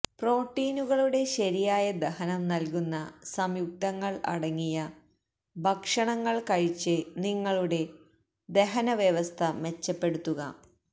പ്രോട്ടീനുകളുടെ ശരിയായ ദഹനം നല്കുന്ന സംയുക്തങ്ങള് അടങ്ങിയ ഭക്ഷണങ്ങള് കഴിച്ച് നിങ്ങളുടെ ദഹനവ്യവസ്ഥ മെച്ചപ്പെടുത്തുക